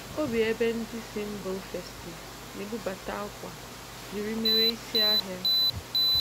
Ọ bi ebé ndị si mba ofesí na-ebụbata ákwá jiri mere isi ahiá.